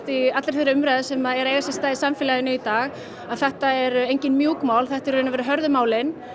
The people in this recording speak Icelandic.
í allri þeirri umræðu sem á sér stað í samfélaginu í dag að þetta eru engin mjúk mál þetta eru hörðu málin